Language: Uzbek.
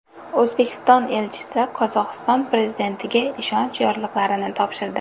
O‘zbekiston elchisi Qozog‘iston prezidentiga ishonch yorliqlarini topshirdi.